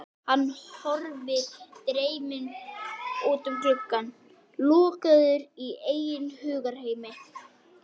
Hann horfir dreyminn út um gluggann, lokaður í eigin hugarheimi.